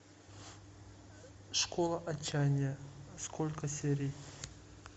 школа отчаяния сколько серий